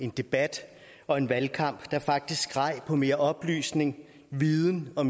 en debat og en valgkamp der faktisk skreg på mere oplysning viden og